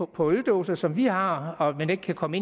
på øldåserne som vi har og man ikke kan komme